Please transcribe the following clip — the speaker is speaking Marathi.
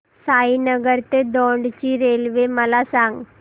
साईनगर ते दौंड ची रेल्वे मला सांग